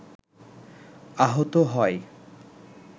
আহত হয়